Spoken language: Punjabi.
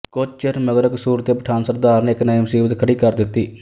ਕੁੱਝ ਚਿਰ ਮਗਰੋਂ ਕਸੂਰ ਦੇ ਪਠਾਣ ਸਰਦਾਰ ਨੇ ਇੱਕ ਨਵੀਂ ਮੁਸੀਬਤ ਖੜੀ ਕਰ ਦਿੱਤੀ